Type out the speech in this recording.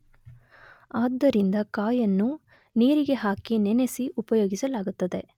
ಆದ್ದರಿಂದ ಕಾಯನ್ನು ನೀರಿಗೆ ಹಾಕಿ ನೆನೆಸಿ ಉಪಯೋಗಿಸಲಾಗುತ್ತದೆ